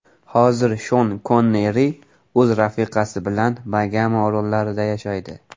Hozir Shon Konneri o‘z rafiqasi bilan Bagama orollarida yashaydi.